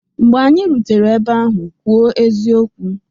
Mgbe anyị rutere ebe ahụ, kwuo eziokwu!